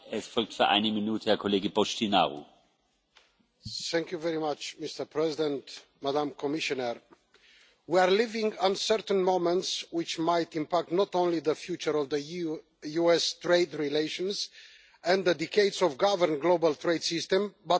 Mr President, Madam Commissioner, we are living uncertain moments which might impact not only the future of the EU US trade relations and the decades of governed global trade system, but also the future of the international rule based multilateral system